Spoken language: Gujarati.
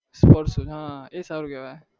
એ સારું કેવાય